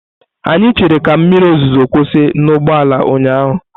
Anyị chere ka mmiri ozuzo kwụsị n'ụgbọala ụnyaahụ.